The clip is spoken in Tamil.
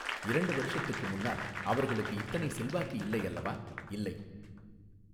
இரண்டு வருஷத்துக்கு முன்னால் அவர்களுக்கு இத்தனை செல்வாக்கு இல்லை அல்லவா இல்லை.